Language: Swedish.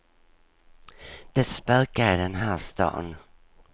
Det spökar i den här stan.